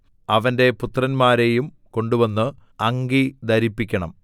അവന്റെ പുത്രന്മാരെയും കൊണ്ടുവന്ന് അങ്കി ധരിപ്പിക്കണം